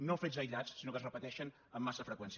no fets aïllats sinó que es repeteixen amb massa freqüència